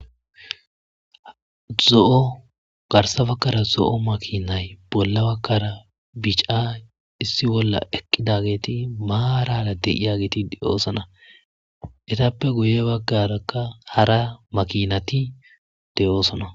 Zo7o garsse baggara zo7o makinay bolla baggara bicca issi bolla eqqidageti maarara eqqidageti de7oosona etape guye baggara hara makinati de7oosona.